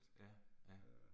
Ja, ja